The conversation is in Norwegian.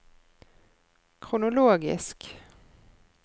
kronologisk